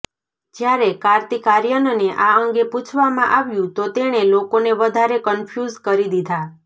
જ્યારે કાર્તિક આર્યનને આ અંગે પૂછવામાં આવ્યું તો તેણે લોકોને વધારે કન્ફ્યુઝ કરી દીધા